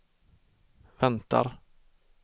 väntar